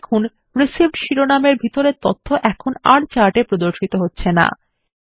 দেখুন রিসিভড শিরোনামের ভিতরের তথ্য এখন আর চার্ট এ প্রদর্শিত হচ্ছে না